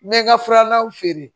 N bɛ n ka furalaw feere